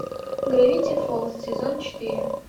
гравити фолз сезон четыре